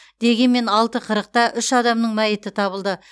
дегенмен алты қырықта үш адамның мәйіті табылды